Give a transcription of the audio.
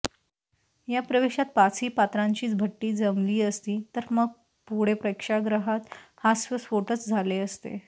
या प्रवेशात पाचही पात्रांची भट्टी जमली असती तर मग पुढे प्रेक्षागृहात हास्यस्फोटच झाले असते